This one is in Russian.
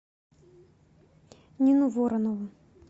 нину воронову